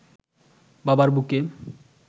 বাবার বুকে